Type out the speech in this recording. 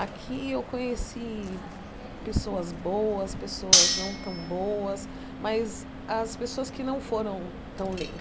Aqui eu conheci pessoas boas, pessoas não tão boas, mas as pessoas que não foram tão